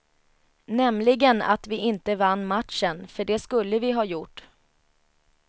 Nämligen att vi inte vann matchen, för det skulle vi ha gjort.